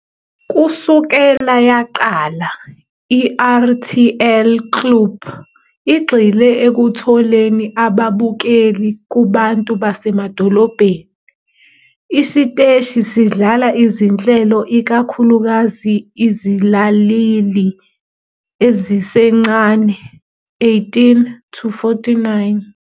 Kusukela yaqala, i-RTL Klub igxile ekutholeni ababukeli kubantu basemadolobheni. Isiteshi sidlala izinhlelo ikakhulukazi izilaleli ezisencane, 18-49.